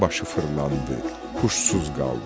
Qara başı fırlandı, huşsuz qaldı.